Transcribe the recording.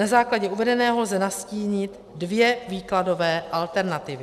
Na základě uvedeného lze nastínit dvě výkladové alternativy.